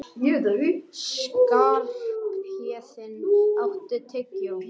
Skarphéðinn, áttu tyggjó?